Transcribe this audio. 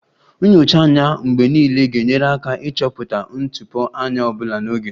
Nyocha anya mgbe niile ga-enyere aka ịchọpụta ntụpọ anya ọ bụla n'oge